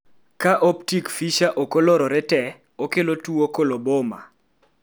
ka optic fissure ok olorore te, okelo tuwo coloboma